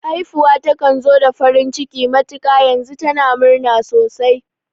Haifuwa takan zo da farin ciki matuƙa, yanzu tana murna sosai